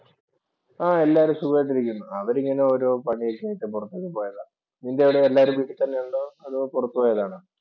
ആഹ് എല്ലാവരും സ്വഖമായിട്ട് ഇരിക്കുന്നു. അവരിങ്ങനെ ഓരോ പണിയൊക്കെ ആയിട്ട് പുറത്തൊക്കെ പോയതാ. നിന്‍റെ അവിടെ എല്ലാവരും വീട്ടിൽ തന്നെ ഉണ്ടോ? അതോ പുറത്തുപോയതാണോ?